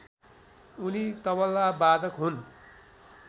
उनी तबलावादक हुन्